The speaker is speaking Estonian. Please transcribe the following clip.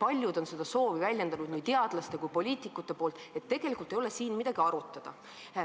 paljud on seda soovi väljendanud, nii teadlaste kui ka poliitikute seast, nii et siin ei ole tegelikult enam midagi arutada.